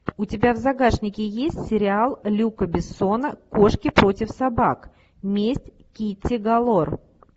у тебя в загашнике есть сериал люка бессона кошки против собак месть китти галор